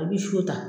I bɛ so ta